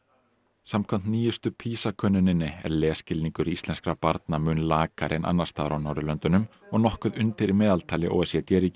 samkvæmt nýjustu PISA könnuninni er lesskilningur íslenskra barna mun lakari en annars staðar á Norðurlöndunum og nokkuð undir meðaltali o e c d ríkja